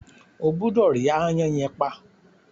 O gbúdọ̀ rí “aáyán” yẹn pa.